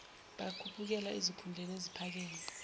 bakhuphukela ezikhundleni eziphakeme